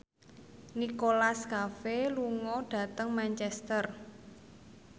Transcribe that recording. Nicholas Cafe lunga dhateng Manchester